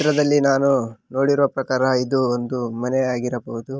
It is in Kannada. ಈ ಚಿತ್ರದಲ್ಲಿ ನಾನು ನೋಡಿರುವ ಪ್ರಕಾರ ಇದು ಒಂದು ಮನೆಯಾಗಿರಬಹುದು.